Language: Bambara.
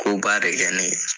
Koba de kɛ ne ye